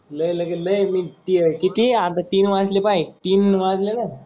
लय म्हणजे लय किती आता तीन वाजले पाहे तीन वाजले ना.